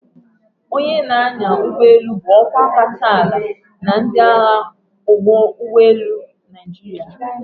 Onye na-anya ụgbọ elu bụ ọkwa kacha ala na ndị agha ụgbọelu Naịjirịa.